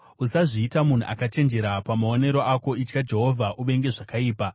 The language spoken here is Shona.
Usazviita munhu akachenjera pamaonero ako; itya Jehovha uvenge zvakaipa.